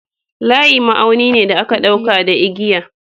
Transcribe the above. Layi ma'auni ne da aka ɗauka da igiya.